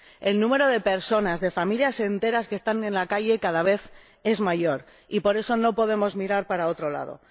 El número de personas, de familias enteras que están en la calle cada vez es mayor y, por eso, no podemos mirar para otro lado.